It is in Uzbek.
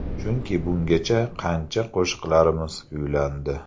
Chunki, bungacha qancha qo‘shiqlarimiz kuylandi.